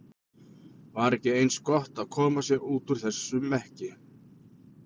Var ekki eins gott að koma sér út úr þessum mekki?